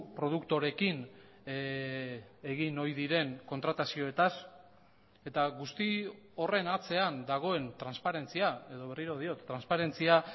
produktoreekin egin ohi diren kontratazioetaz eta guzti horren atzean dagoen transparentzia edo berriro diot transparentzia